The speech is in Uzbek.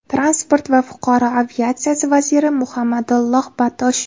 Transport va fuqaro aviatsiyasi vaziri Muhammadulloh Batosh.